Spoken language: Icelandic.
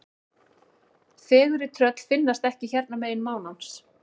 Fegurri tröll finnast ekki hérna megin mánans.